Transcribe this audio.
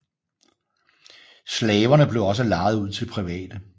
Slaverne blev også lejet ud til private